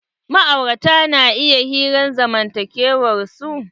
Ma'aurata na iya hiran zamantakewan su.